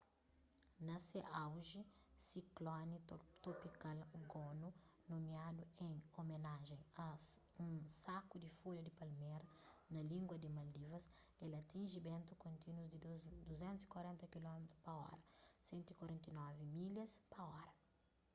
na se auji sikloni topikal gonu nomiadu en omenajen a un saku di folha di palmera na língua di maldivas el atinji bentu kontínus di 240 kilómitru pa óra 149 milhas pa óra